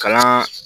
Kalan